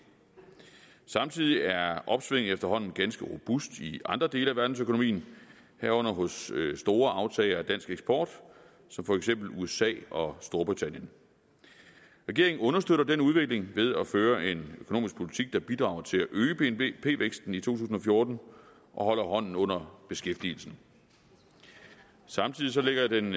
samtidig er opsvinget efterhånden ganske robust i andre dele af verdensøkonomien herunder hos store aftagere af dansk eksport som for eksempel usa og storbritannien regeringen understøtter den udvikling ved at føre en økonomisk politik der bidrager til at øge bnp væksten i to tusind og fjorten og holder hånden under beskæftigelsen samtidig ligger den